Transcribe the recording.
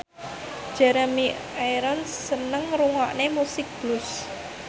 Jeremy Irons seneng ngrungokne musik blues